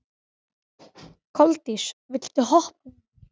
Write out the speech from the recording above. Koldís, viltu hoppa með mér?